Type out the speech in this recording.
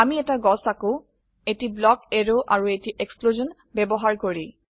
আমি এটি গাছ আঁকো এটি ব্লক এৰো আৰু এটি এক্সপ্লশ্যন ব্যবহাৰ কৰি